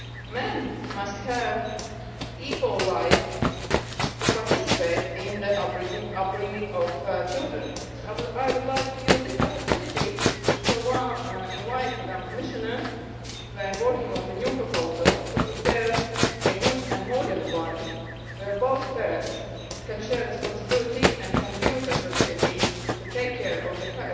Men must have an equal right to participate in the upbringing of children. So I would like to use this opportunity to invite Madam Commissioner, when working on the new proposal, to prepare a good modern one where both parents can share responsibility and can use the opportunity to take care of the